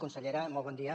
consellera molt bon dia